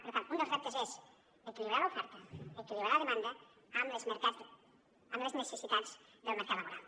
per tant un dels reptes és equilibrar l’oferta equilibrar la demanda amb les necessitats del mercat laboral